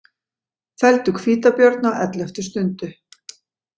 Felldu hvítabjörn á elleftu stundu